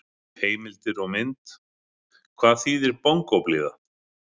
Heimildir og mynd: Hvað þíðir bongóblíða!